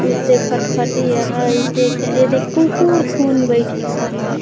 उ ते फटफटी हय इते ए जन कुक्कुर कुन बैठिसे हय।